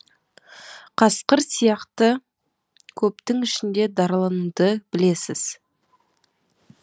қасқыр сияқты көптің ішінде даралануды білесіз